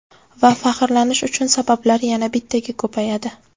Va faxrlanish uchun sabablar yana bittaga ko‘payadi.